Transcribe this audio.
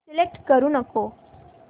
select करू नको